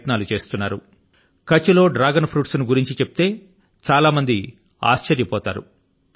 చాలా మంది విన్నప్పుడు ఆశ్చర్యపోతారు కచ్ఛ్ లో డ్రాగన్ ఫ్రూట్స్ ను గురించి చెప్తే చాలా మంది ఆశ్చర్య పోతారు